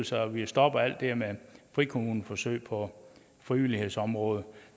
så vi kan stoppe alt det her med frikommuneforsøg på frivillighedsområdet